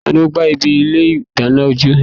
Tani o gba ibi ilé idana ounjẹ?